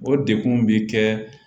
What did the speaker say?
O degun bɛ kɛ